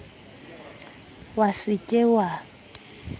wa se ke wa ba